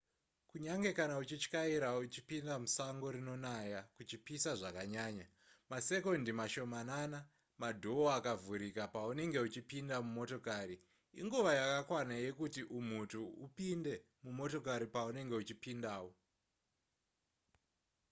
kunyange kana uchityaira uchipinda musango rinonaya kuchipisa zvakanyaya masekondi mashomanana madhoo akavhurika paunenge uchipinda mumotokari inguva yakakwana yekuti umhutu upinde mumotokari paunenge uchipindawo